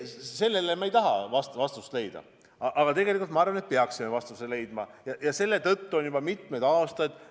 Sellele me ei taha vastust leida, aga ma arvan, et me peaksime vastuse leidma, sest just selle tõttu on kõik veninud juba mitmeid aastaid.